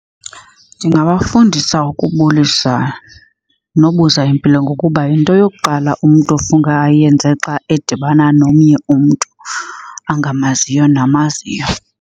Ndingabafundisa ukubulisa nobuza impilo ngokuba yinto yokuqala umntu ofuneka ayenze xa edibana nomnye umntu angamaziyo namaziyo.